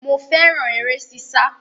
Mo fẹ́ràn eré sísá